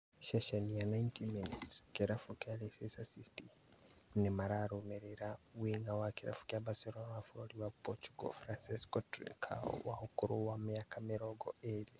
Ceceni ya 90Min, kĩrabu kĩa Leicester City mararũmĩrĩra wing'a wa kĩrabu kĩa Barcelona wa bũrũri wa Portugal Francisco Trincao wa ũkũrũ wa mĩaka mĩrongo ĩrĩ